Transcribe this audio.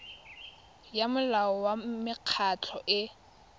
ya molao wa mekgatlho e